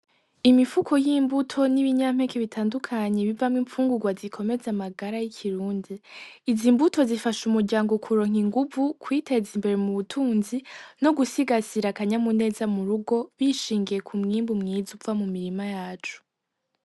Imifuko y'imbuto n'ibinyampeke bitandukanye bivamwo imfungugwa zikomeza amagara y'ikirundi izi mbuto zifasha umuryango kuronka inguvu kwiteza imbere mu butunzi no gusigasira akanyamuneza murugo bishingiye ku mwimbu mwiza uva mu mirima yacu.